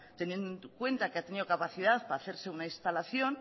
teniendo en cuenta que ha tenido capacidad para hacerse una instalación